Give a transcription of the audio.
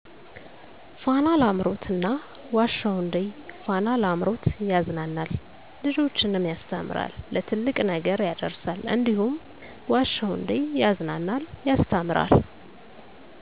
ፋና ላምሮት እና ዋሸሁ እንዴ ፋና ላምሮት ያዝናናል ልጆችንም ያስተምራል ለትልቅ ነገር ያዳርሳል እንዲሁም ዋሸሁ እዴ ያዝናናል ያስተምራል።